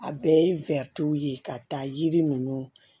A bɛɛ ye ye ka taa yiri ninnu